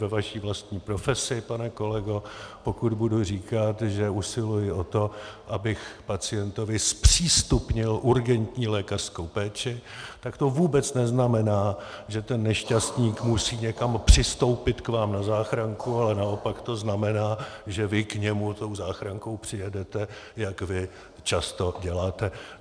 Ve vaší vlastní profesi, pane kolego, pokud budu říkat, že usiluji o to, abych pacientovi zpřístupnil urgentní lékařskou péči, tak to vůbec neznamená, že ten nešťastník musí někam přistoupit k vám na záchranku, ale naopak to znamená, že vy k němu tou záchrankou přijedete, jak vy často děláte.